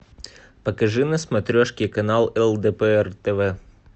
покажи на смотрешке канал лдпр тв